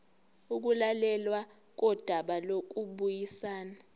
ukulalelwa kodaba lokubuyisana